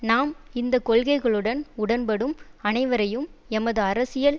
நாம் இந்த கொள்கைகளுடன் உடன்படும் அனைவரையும் எமது அரசியல்